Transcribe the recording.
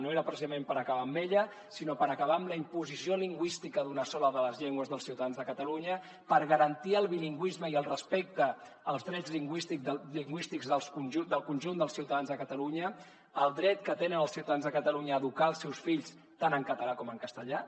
no era precisament per acabar amb ella sinó per acabar amb la imposició lingüística d’una sola de les llengües dels ciutadans de catalunya per garantir el bilingüisme i el respecte als drets lingüístics del conjunt dels ciutadans de catalunya el dret que tenen els ciutadans de catalunya a educar els seus fills tant en català com en castellà